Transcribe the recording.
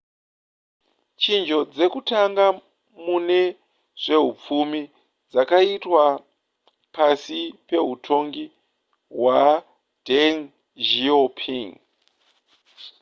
chinjo dzekutanga mune zvehupfumi dzakaitwa pasi pehutongi hwadeng xiaoping